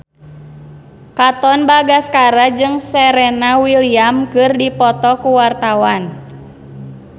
Katon Bagaskara jeung Serena Williams keur dipoto ku wartawan